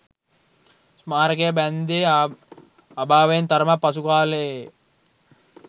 ස්මාරකය බැන්දේ අභාවයෙන් තරමක් පසුකාලයේය.